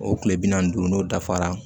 O tile bi naani ni duuru n'o dafara